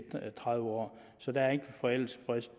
tredive år så der er ikke forældelsesfrist